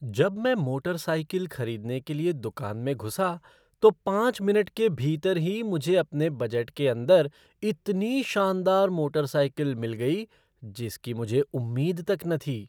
जब मैं मोटरसाइकिल खरीदने के लिए दुकान में घुसा तो पाँच मिनट के भीतर ही मुझे अपने बजट के अंदर इतनी शानदार मोटरसाइकिल मिल गई जिसकी मुझे उम्मीद तक न थी!